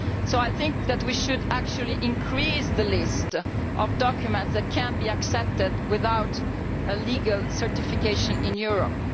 So I think that we should actually increase the list of documents that can be accepted without legal certification in Europe.